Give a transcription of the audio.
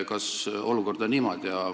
Kas olukord on niimoodi?